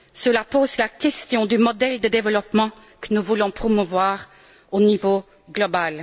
Cela pose la question du modèle de développement que nous voulons promouvoir au niveau global.